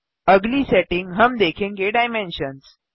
अगली सेटिंग हम देखेंगे डाइमेंशंस